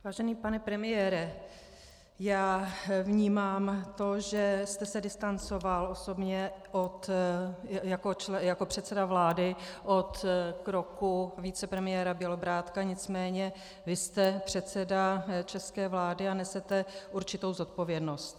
Vážený pane premiére, já vnímám to, že jste se distancoval osobně jako předseda vlády od kroku vicepremiéra Bělobrádka, nicméně vy jste předseda české vlády a nesete určitou zodpovědnost.